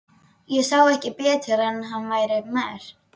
Ég sá ekki betur en að hann væri merkt